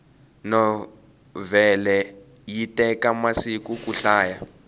novhele yi teka masiku kuyi hlaya